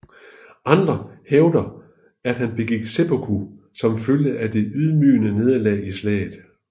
Andre hævder at han begik seppuku som følge af det ydmygende nederlag i slaget